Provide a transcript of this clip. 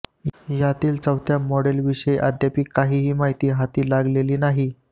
यातील चौथ्या मॉडेलविषयी अद्याप काहीही माहिती हाती लागलेली नाही